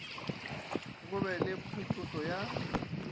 go be le phetošo ya